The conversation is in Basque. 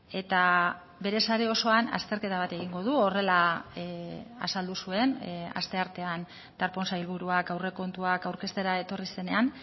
eta bere sare osoan azterketa bat egingo du horrela azaldu zuen asteartean darpón sailburuak aurrekontuak aurkeztera etorri zenean